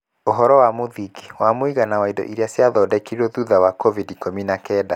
Ũhoro wa mũthingi wa mũigana wa indo iria ciathondekirũo thutha wa COVID-19